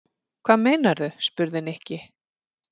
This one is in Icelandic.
Hvað meinarðu? spurði Nikki.